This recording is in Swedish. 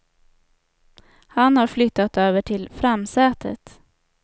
Han har flyttat över till framsätet.